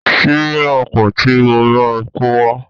Ṣíbí máa pọ̀ ti mo máa kówá.